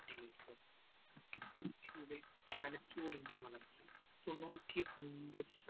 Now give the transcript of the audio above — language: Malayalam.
തലച്ചോറിന്റെ വളർച്ച തൊണ്ണൂറ്റിയൊമ്പതു ശതമാനം